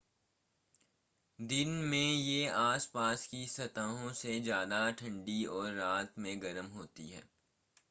दिन में ये आस-पास की सतहों से ज़्यादा ठंडी और रात में गर्म होती हैं